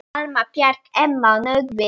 Alma, Bjarki, Emma og Nökkvi.